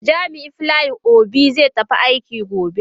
Jami'in Flying Obi zai tafi aiki gobe.